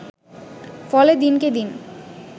ফলে দিনকে দিন